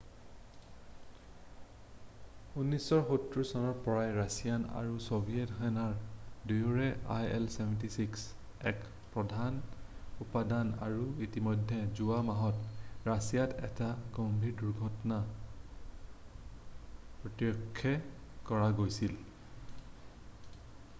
1970 চনৰে পৰাই ৰাছিয়ান আৰু ছ'ভিয়েট সেনা দুয়োৰে il-76 এক প্ৰধান উপাদান আৰু ইতিমধ্যেই যোৱা মাহত ৰাছিয়াত এটা গম্ভীৰ দূৰ্ঘটনা প্ৰ্ত্যক্ষ কৰা গৈছিল